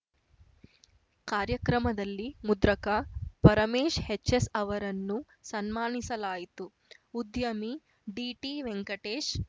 ಕಾರ್ಯಕ್ರಮದಲ್ಲಿ ಮುದ್ರಕ ಪರಮೇಶ್ ಹೆಚ್ಎಸ್ಅವರನ್ನು ಸನ್ಮಾನಿಸಲಾಯಿತು ಉದ್ಯಮಿ ಡಿಟಿವೆಂಕಟೇಶ್